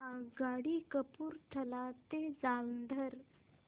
आगगाडी कपूरथला ते जालंधर